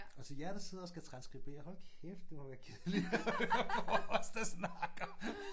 Altså jer der sidder og transskriberer hold kæft det må være kedeligt at høre på os der snakker